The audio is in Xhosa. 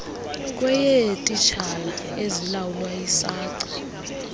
kweyeetitshala ezilawulwa yisace